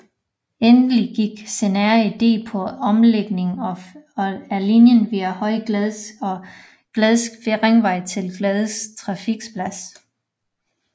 Endelig gik scenarie D på en omlægning af linjen via Høje Gladsaxe og Gladsaxe Ringvej til Gladsaxe Trafikplads